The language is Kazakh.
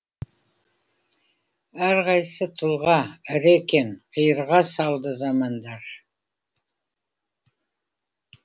әрқайсы тұлға ірі екен қиырға салды замандар